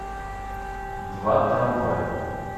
два трамвая